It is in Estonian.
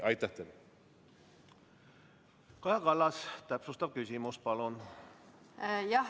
Kaja Kallas, täpsustav küsimus palun!